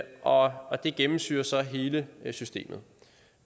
og og det gennemsyrer så hele systemet